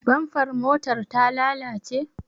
Bamfar motar ta lalace?